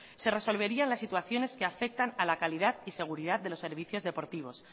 se resolvería las situaciones que afectan a la calidad y seguridad de los servicios deportivos